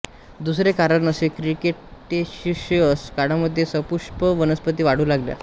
दुसरे कारण असे कीक्रिटेशिअस काळामध्ये सपुष्प वनस्पती वाढू लागल्या